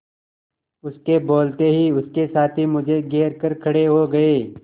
उसके बोलते ही उसके साथी मुझे घेर कर खड़े हो गए